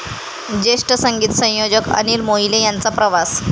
ज्येष्ठ संगीत संयोजक अनिल मोहिले यांचा प्रवास